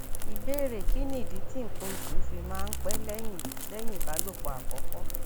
ìbéèrè kí nìdí tí nkan osu fi máa ń pẹ lẹyìn lẹyìn ìbálòpọ àkọkọ